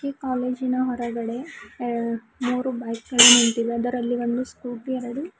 ಕಾಲೇಜಿನ ಹೊರಗಡೆ ಎ ಮೂರು ಬೈಕ್ ಗಳು ನಿಂತಿವೆ ಅದರಲ್ಲಿ ಒಂದು ಸ್ಕೂಟಿ ಎರಡು--